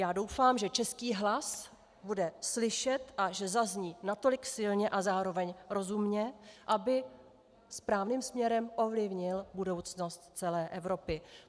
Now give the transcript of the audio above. Já doufám, že český hlas bude slyšet a že zazní natolik silně a zároveň rozumně, aby správným směrem ovlivnil budoucnost celé Evropy.